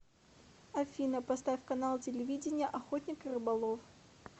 афина поставь канал телевидения охотник и рыболов